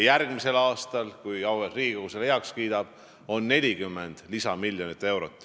Järgmisel aastal, kui auväärt Riigikogu selle heaks kiidab, on haigekassal 40 lisamiljonit.